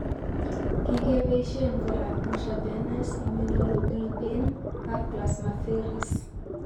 Kigepoisien kora Intravenous immunoglobulin, ak plasmapheresis.